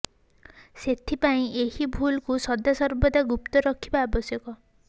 ସେଥିପାଇଁ ଏହି ଭୁଲ କୁ ସଦାସର୍ବଦା ଗୁପ୍ତ ରଖିବା ଆବଶ୍ୟକ